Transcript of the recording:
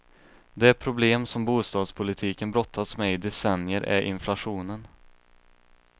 Det problem som bostadspolitiken brottats med i decennier är inflationen.